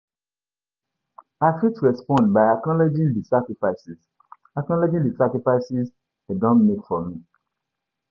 i fit respond by acknowledging di sacrifices acknowledging di sacrifices dem don make for me.